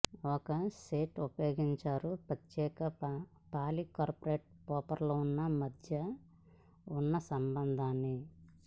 ఒక షీట్ ఉపయోగిస్తారు ప్రత్యేక పాలికార్బోనేట్ ప్రొఫైల్ను మధ్య ఉన్న సంబంధాన్ని